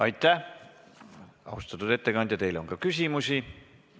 Aitäh, austatud ettekandja, teile on ka küsimusi.